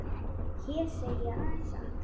Hér segi ég aðeins satt.